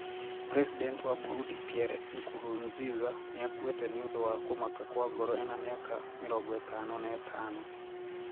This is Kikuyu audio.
President wa Burundi Pierre Nkurunziza niakuiite ñĩũndũ wa kũmaka kwa ngoro ena miaka 55.